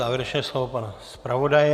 Závěrečné slovo pana zpravodaje.